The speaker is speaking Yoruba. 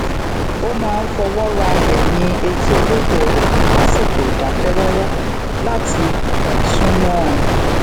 ó máa ń fọwó ra eyin eti olóngbò rè lasiko idake roro lati sún mó ọn